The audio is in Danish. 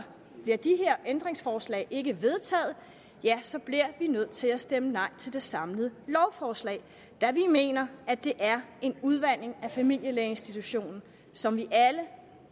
bliver de her ændringsforslag ikke vedtaget ja så bliver vi nødt til at stemme nej til det samlede lovforslag da vi mener at det er en udvanding af familielægeinstitutionen som vi alle